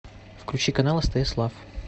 включи канал стс лав